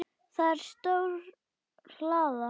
Það er stór hlaða.